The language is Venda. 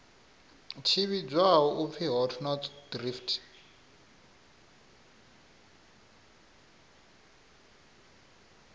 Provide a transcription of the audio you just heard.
tshi vhidzwa u pfi hotnotsdrift